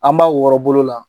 An b'a wɔrɔ bolo la